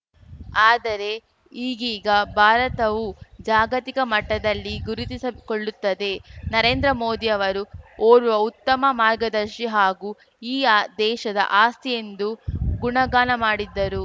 ಆದರೆ ಈಗೀಗ ಭಾರತವೂ ಜಾಗತಿಕ ಮಟ್ಟದಲ್ಲಿ ಗುರುತಿಸಿದ ಕೊಳ್ಳುತ್ತದೆ ನರೇಂದ್ರ ಮೋದಿಯವರು ಓರ್ವ ಉತ್ತಮ ಮಾರ್ಗದರ್ಶಿ ಹಾಗೂ ಈ ಆ ದೇಶದ ಆಸ್ತಿ ಎಂದು ಗುಣಗಾನ ಮಾಡಿದ್ದರು